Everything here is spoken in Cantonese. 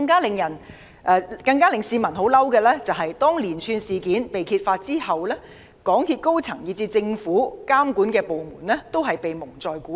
令市民更憤怒的是，連串事件被揭發前，港鐵公司高層以至政府監管部門均被蒙在鼓裏。